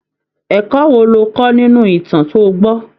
Ẹ̀kọ́ wo lo kọ́ nínú ìtàn to gbọ́?